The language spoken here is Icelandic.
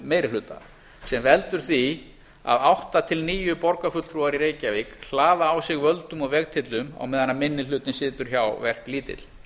meiri hluta sem veldur því að átta til níu borgarfulltrúar í reykjavík hlaða á sig völdum og vegtyllum á meðan minni hlutinn situr hjá verklítill